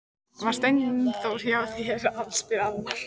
Var Steindór hjá þér, spyr Alma.